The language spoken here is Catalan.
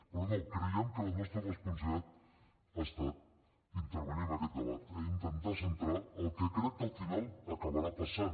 però no creiem que la nostra responsabilitat ha estat intervenir en aquest debat i intentar centrar el que crec que al final acabarà passant